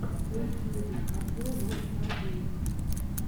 на ютюбе обзор рокстар геймс